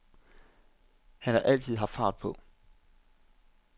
Han har altid haft fart på.